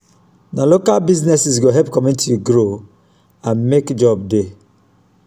na local businesses go help community grow and mek job dey.